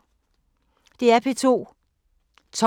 DR P2